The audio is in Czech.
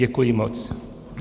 Děkuji moc.